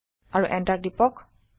আৰু এণ্টাৰ টিপক